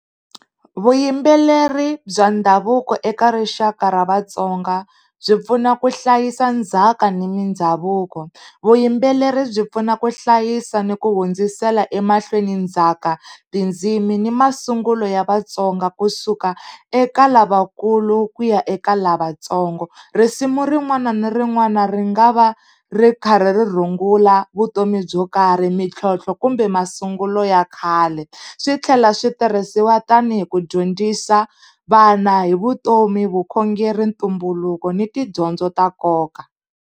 Vuyimbeleri bya ndhavuko eka rixaka ra Vatsonga, byi pfuna ku hlayisa ndzhaka ni mindhavuko. Vuyimbeleri byi pfuna ku hlayisa ni ku hundzisela emahlweni ndzhaka, tindzimi ni masungulo ya Vatsonga kusuka eka lavakulu ku ya eka lavatsongo. Risimu rin'wana na rin'wana ri nga va ri karhi ri rungula vutomi byo karhi, mintlhontlho kumbe masungulo ya khale. Swi tlhela swi tirhisiwa tanihi ku dyondzisa vana hi vutomi, vukhongeri ntumbuluko ni tidyondzo ta nkoka.